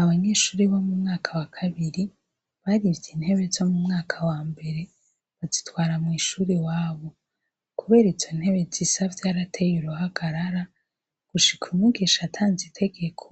Abanyeshuri bo mu mwaka wa kabiri, barivye intebe zo mu mwaka wa mbere bazitwara mw'ishuri iwabo. Kubera izo ntebe zisa vyarateyuruhagarara gushikumwigisha atanze itegeko